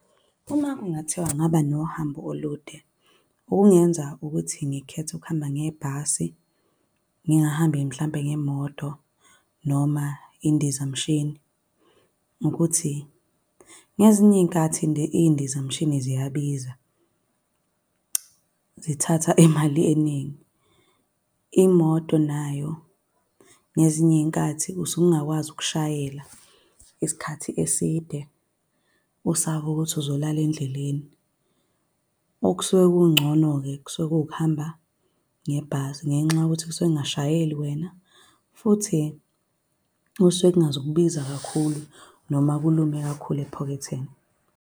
Uma kungathiwa kungaba nohambo olude, okungenza ukuthi ngikhethe ukuhamba ngebhasi, ngingahambi mhlampe ngemoto, noma indizamshini, ukuthi ngezinye iy'nkathi iy'ndizamshini ziyabiza. Zithatha imali eningi. Imoto nayo ngezinye iy'nkathi usuke ungakwazi ukushayela isikhathi eside. Usaba ukuthi uzolala endleleni. Okusuke kungcono-ke kusuke kuwukuhamba ngebhasi, ngenxa yokuthi kusuke kungashayeli wena, futhi kusuke kungazukubiza kakhulu, noma kulume kakhulu ephaketheni.